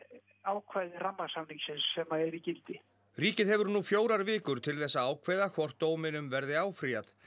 ákvæði rammasamningsins sem er í gildi ríkið hefur nú fjórar vikur til þess að ákveða hvort dóminum verði áfrýjað